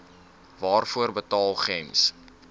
waarvoor betaal gems